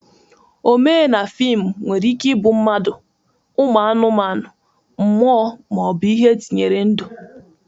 Omee na fịmụ nwere ike ịbụ mmadu, ụmụ anụmanụ, mmụọ, ma ọ bụ ihe etinyere ndu..